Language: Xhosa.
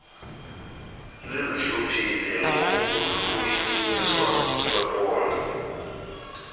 lizihluphile ngokuhlunyiswa kwephondo